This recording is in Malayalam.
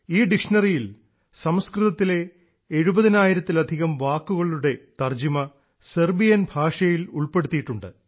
ഈ ഡിക്ഷണറിയിയിൽ സംസ്കൃതത്തിലെ എഴുപതിനായിരത്തിലധികം വാക്കുകളുടെ തർജ്ജിമ സെർബിയൻ ഭാഷയിൽ ഉൾപ്പെടുത്തിയിട്ടുണ്ട്